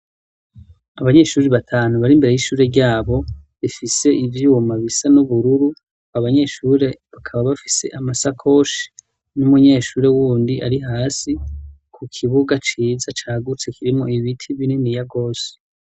Abanyeshuri batanu bari mbere y'ishure ryabo bifise ibyuma bisa n'ubururu .Abanyeshuri bakaba bafise amasakoshi n'umunyeshuri wundi ari hasi ku kibuga ciza cagutse kirimo ibiti binini ya gose.